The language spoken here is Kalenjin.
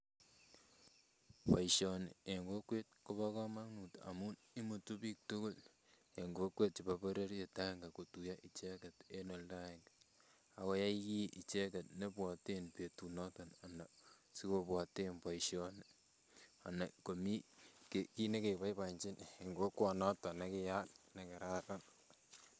Boisioni eng kokwet kobo komonut amun imutu biik tukul eng kokwet chebo bororiet aenge kotuyo icheket eng oldo aenge akoyai kiy icheket nebwoten betunoton anan sikobwoten boisioni anan komii kiy nekeboiboenjin eng kokwonoton nekiyaak nekararan